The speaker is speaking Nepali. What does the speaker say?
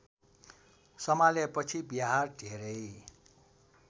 सम्हालेपछि बिहार धेरै